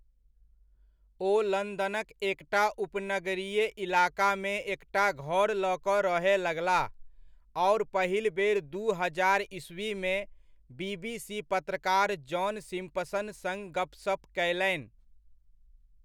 ओ लन्दनक एकटा उपनगरीय इलाकामे एकटा घर लऽ कऽ रहय लगलाह, आओर पहिल बेर दू हजार ईस्वीमे, बीबीसी पत्रकार जॉन सिम्पसन सङ गपसप कयलनि।